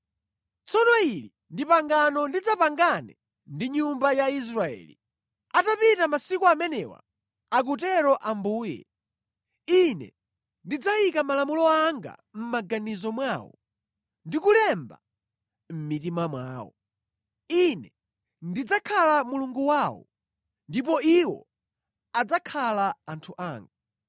Tsono ili ndi pangano ndidzapangane ndi nyumba ya Israeli: Atapita masiku amenewa, akutero Ambuye, Ine ndidzayika malamulo anga mʼmaganizo mwawo, ndi kulemba mʼmitima mwawo. Ine ndidzakhala Mulungu wawo, ndipo iwo adzakhala anthu anga.